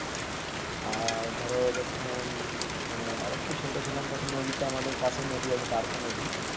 আর ধরো যখন উম মানে আর একটু ছোট ছিলাম, তখন নদীতে আমাদের পাশে একটা নদী আছে ধারকা নদী,